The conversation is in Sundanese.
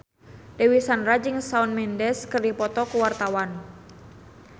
Dewi Sandra jeung Shawn Mendes keur dipoto ku wartawan